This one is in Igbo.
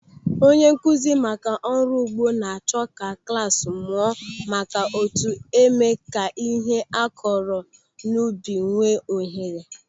Onye nkụzi maka ọrụ ugbo na-achọ ka klas mụọ maka otu eme ka ihe a kụrụ n'ubi nwee ohere.